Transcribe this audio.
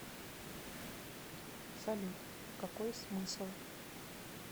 салют какой смысл